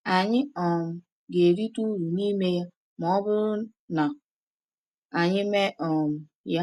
Anyị um ga-erite uru n’ime ya ma ọ bụrụ na anyị mee um ya.